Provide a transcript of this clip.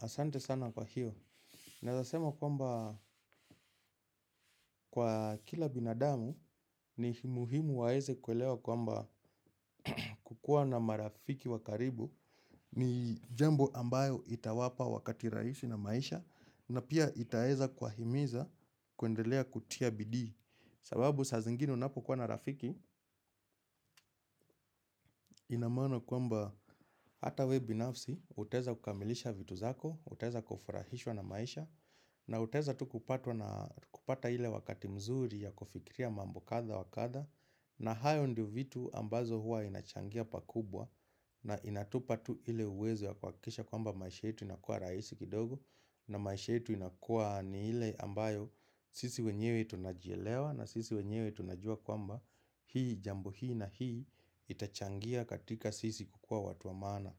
Asante sana kwa hiyo. Naezasema kwamba kwa kila binadamu ni muhimu waeze kuelewa kwamba kukua na marafiki wa karibu ni jambo ambayo itawapa wakati raisi na maisha na pia itaeza kuwahimiza kuendelea kutia bidii. Sababu saa zingine unapokuwa na rafiki ina maana kwamba hata we binafsi utaeza kukamilisha vitu zako, utaeza kufurahishwa na maisha. Na utaeza tu kupata hile wakati mzuri ya kufikiria mambo kadha wa kadha. Na hayo ndio vitu ambazo hua inachangia pakubwa. Na inatupa tu ile uwezo ya kuakikisha kwamba maisha yetu inakua raisi kidogo. Na maisha yetu inakua ni ile ambayo sisi wenyewe tunajielewa. Na sisi wenyewe tunajua kwamba hii jambo hii na hii itachangia katika sisi kukua watu wa maana.